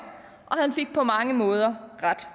og han fik på mange måder ret